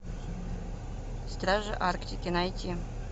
стражи арктики найти